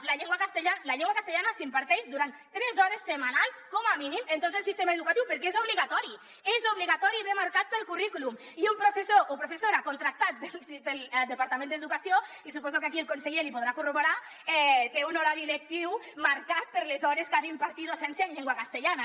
la llengua castellana s’imparteix durant tres hores setmanals com a mínim en tot el sistema educatiu perquè és obligatori és obligatori i ve marcat pel currículum i un professor o professora contractat pel departament d’educació i suposo que aquí el conseller l’hi podrà corroborar té un horari lectiu marcat per les hores que ha d’impartir docència en llengua castellana